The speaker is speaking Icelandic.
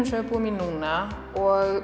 sem við búum í núna og